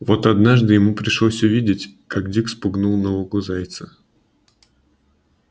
но вот однажды ему пришлось увидеть как дик спугнул на лугу зайца